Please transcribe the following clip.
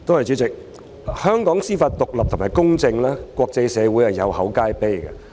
主席，香港的司法獨立及公正，在國際社會上是有口皆碑的。